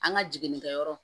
An ka jiginikɛyɔrɔ